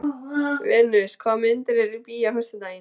Venus, hvaða myndir eru í bíó á föstudaginn?